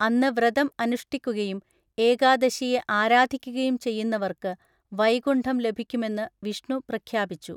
അന്ന് വ്രതം അനുഷ്ഠിക്കുകയും ഏകാദശിയെ ആരാധിക്കുകയും ചെയ്യുന്നവർക്ക് വൈകുണ്ഠം ലഭിക്കുമെന്ന് വിഷ്ണു പ്രഖ്യാപിച്ചു.